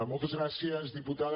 moltes gràcies diputada